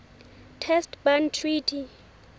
test ban treaty